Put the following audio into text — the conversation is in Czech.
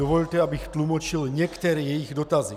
Dovolte, abych tlumočil některé jejich dotazy.